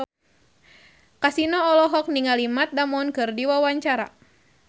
Kasino olohok ningali Matt Damon keur diwawancara